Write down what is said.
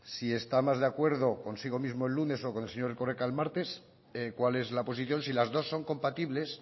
si está más de acuerdo consigo mismo el lunes o con el señor erkoreka el martes cuál es la posición si las dos son compatibles